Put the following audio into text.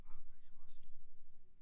Der er ikke så meget at sige